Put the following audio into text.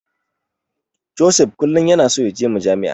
Joseph kullum yana so yaje Majami'a.